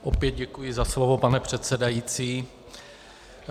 Opět děkuji za slovo, pane předsedající.